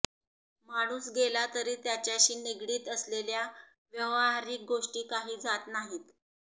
माणूस गेला तरी त्याच्याशी निगडित असलेल्या व्यावहारिक गोष्टी काही जात नाहीत